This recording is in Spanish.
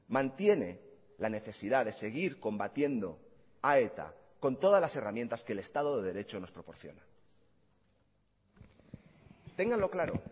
mantiene la necesidad de seguir combatiendo a eta con todas las herramientas que el estado de derecho nos proporciona téngalo claro